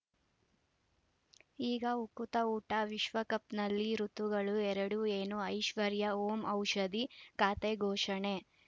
ಈಗ ಉಕುತ ಊಟ ವಿಶ್ವಕಪ್‌ನಲ್ಲಿ ಋತುಗಳು ಎರಡು ಏನು ಐಶ್ವರ್ಯಾ ಓಂ ಔಷಧಿ ಖಾತೆ ಘೋಷಣೆ